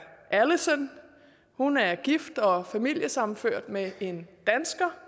alison hun er gift og familiesammenført med en dansker